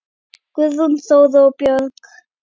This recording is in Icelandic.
Guðrún Þóra og börn.